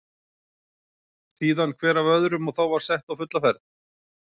Síðan hver af öðrum og þá var sett á fulla ferð.